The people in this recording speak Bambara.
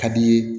Ka di i ye